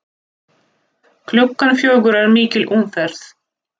Klukkan fjögur er mikil umferð.